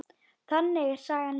Þannig er saga mín.